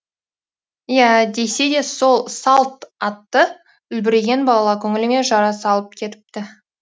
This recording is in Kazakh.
иә десе де сол салтатты үлбіреген бала көңіліме жара салып кетіпті